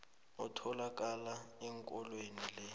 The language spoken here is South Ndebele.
otholakala ekondlweni le